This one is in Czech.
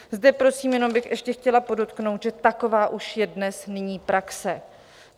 Zde prosím jenom bych ještě chtěla podotknout, že taková už je dnes nyní praxe.